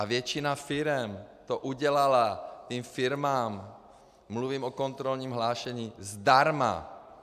A většina firem to udělala těm firmám - mluvím o kontrolním hlášení - zdarma!